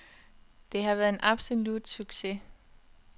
Det har været en absolut succes.